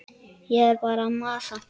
Ég er bara að masa.